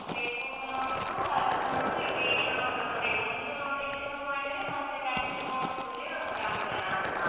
Facebook ನೋಡುದು, ಅದು ನೋಡುದು, ಈ video ನೋಡುದು ಅಂತೇಳಿ, ಒಂದು ನೋಡ್ಲಿಕ್ಕೆ ಶುರು ಮಾಡಿದ್ರೆ ಮತ್ತೆ ಗಂಟೆ ಹೋಗುದೇ ಗೊತ್ತಾಗುದಿಲ್ಲ ಅಲ್ವಾ.